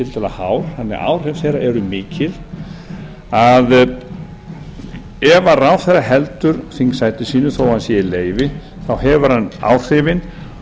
tiltölulega hár þannig að áhrif þeirra eru mikil ef ráðherra heldur þingsæti sínu þó hann sé í leyfi þá hefur hann áhrifin